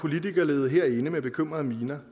når